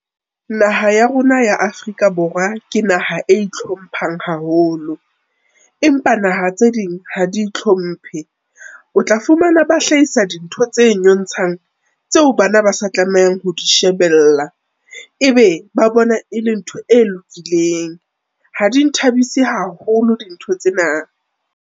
Naha ya rona ya Afrika Borwa ke naha e i thlomphang haholo, empa naha tse ding ha di itlhomphe. O tla fumana ba hlahisa dintho tse nyontshang tseo bana ba sa tlamehang ho di shebella. Ebe ba bona e le ntho e lokileng, ha di nthabise haholo dintho tsena.